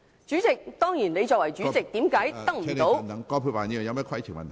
主席，當然你作為主席，為甚麼得不到......